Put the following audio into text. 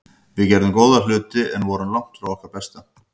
Við gerðum góða hluti en vorum langt frá okkar besta.